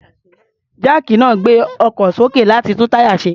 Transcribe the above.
Jáàkì náà ń gbé ọkọ̀ sókè, láti tún táyà ṣe.